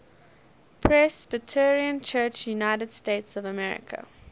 presbyterian church usa